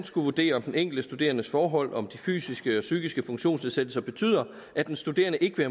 skulle vurdere om den enkelte studerendes forhold og om de fysiske og psykiske funktionsnedsættelser betyder at den studerende ikke vil